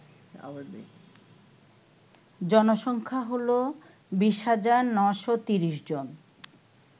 জনসংখ্যা হল ২০৯৩০ জন